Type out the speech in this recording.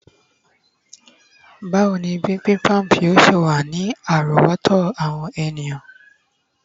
bawo ni bimbimbap yíò ṣe wa ni àrówòtó àwọn eniyan